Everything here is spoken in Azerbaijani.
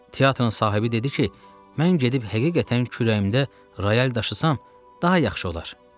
Teatrın sahibi dedi ki, mən gedib həqiqətən kürəyimdə rayal daşısam, daha yaxşı olar.